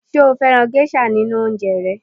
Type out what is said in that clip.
Ǹjẹ́ ó fẹ́ràn gẹ́ṣà nínú oúnjẹ ẹ